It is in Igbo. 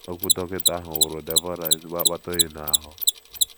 Okwu dọkịta ahụ wụrụ Deborah ezigbo akpata oyi n’ahụ́.